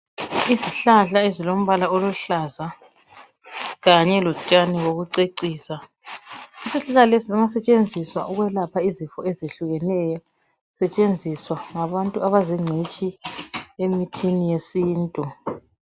Izihlahla ezilombala oluhlaza kanye lotshani bokucecisa . Izihlahla lezi ziyasetshenziswa ukwelapha izifo ezehlukeneyo zisetshenziswa ngabantu abazingcitshi emithini yesintu.